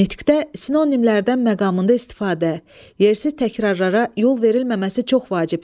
Nitqdə sinonimlərdən məqamında istifadə, yersiz təkrarlara yol verilməməsi çox vacibdir.